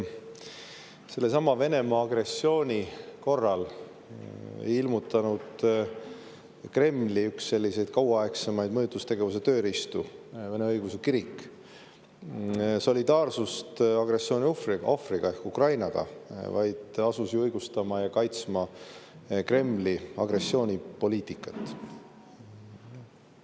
Sellesama Venemaa agressiooni korral ei ilmutanud üks Kremli kauaaegsemaid mõjutustegevuse tööriistu, Vene Õigeusu Kirik, solidaarsust agressiooni ohvriga ehk Ukrainaga, vaid asus õigustama ja kaitsma Kremli agressioonipoliitikat.